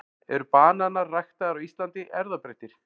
eru bananar ræktaðir á íslandi erfðabreyttir